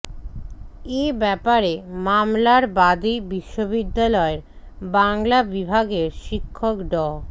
এ ব্যাপারে মামলার বাদী বিশ্ববিদ্যালয়ের বাংলা বিভাগের শিক্ষক ড